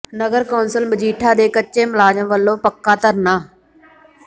ਨਗਰ council Majitha ਦੇ ਕੱਚੇ ਮੁਲਾਜ਼ਮਾਂ ਵੱਲੋਂ ਪੱਕਾ ਧਰਨਾ